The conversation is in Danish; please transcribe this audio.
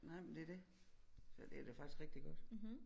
Nej men det er det så det er da faktisk rigtig godt